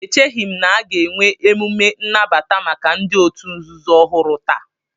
Echeghị m na a ga-enwe emume nnabata maka ndị òtù nzuzo ọhụrụ taa